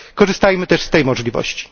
Korzystajmy też z tej możliwości.